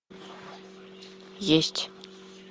есть